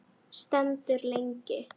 Stendur lengi.